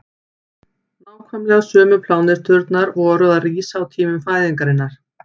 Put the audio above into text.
nákvæmlega sömu pláneturnar voru að rísa á tíma fæðingarinnar